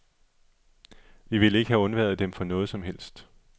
Vi ville ikke have undværet den for noget som helst.